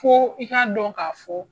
Fo i k'a dɔn ka fɔ